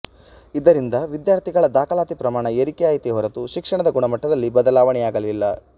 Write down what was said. ಇದರಿಂದ ವಿದ್ಯಾರ್ತಿಗಳ ದಾಖಲಾತಿ ಪ್ರಮಾಣ ಏರಿಕೆಯಾಯಿತೇ ಹೊರತು ಶಿಕ್ಷಣದ ಗುಣಮಟ್ಟದಲ್ಲಿ ಬದಲಾವಣೆಯಾಗಲಿಲ್ಲ